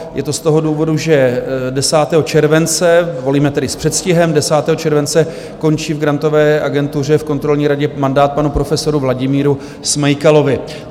Je to z toho důvodu, že 10. července - volíme tedy s předstihem - 10. července končí v Grantové agentuře v kontrolní radě mandát panu profesoru Vladimíru Smejkalovi.